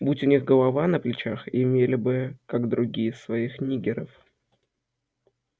будь у них голова на плечах имели бы как другие своих ниггеров